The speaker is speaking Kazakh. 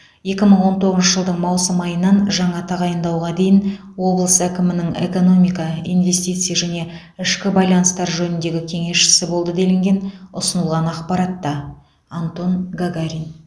екі мың он тоғызыншы жылдың маусым айынан жаңа тағайындауға дейін облыс әкімінің экономика инвестиция және ішкі байланыстар жөніндегі кеңесшісі болды делінген ұсынылған ақпаратта антон гагарин